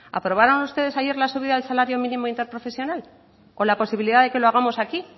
aprobaron ustedes ayer la subida del salario mínimo interprofesional o la posibilidad de que lo hagamos aquí